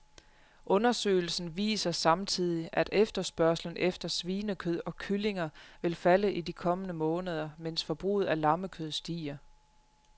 Undersøgelsen viser samtidig, at efterspørgslen efter svinekød og kyllinger vil falde i de kommende måneder, mens forbruget af lammekød stiger.